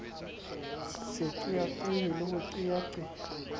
sa qeaqee le ho qeaqea